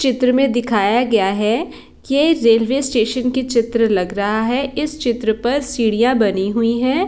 चित्र मे दिखाया गया है कि ये रेलवे स्टेशन के चित्र लग रहा है इस चित्र पर सीड़ियां बनी हुई है।